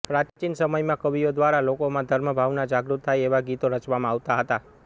પ્રાચીન સમયમાં કવિઓ દ્વારા લોકોમાં ધર્મભાવના જાગૃત થાય એવા ગીતો રચવામાં આવતા હતા